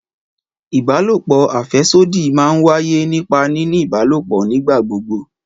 Ìbálòpò afèsódì máa ń wáyé nípa nínì ìbálòpò nígbà gbogbo